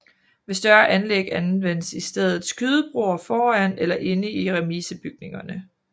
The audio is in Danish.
Ved større anlæg anvendes i stedet skydebroer foran eller inde i remisebygningerne